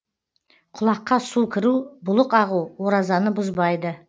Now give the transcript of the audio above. құлаққа су кіру бұлық ағу оразаны бұзбайды